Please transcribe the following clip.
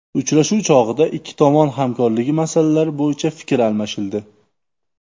Uchrashuv chog‘ida ikki tomon hamkorligi masalalari bo‘yicha fikr almashildi.